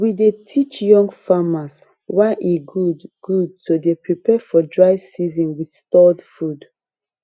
we dey teach young farmers why e good good to dey prepare for dry season with stored food